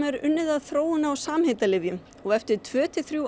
er unnið að þróun á samheitalyfjum og eftir tvær til þrjár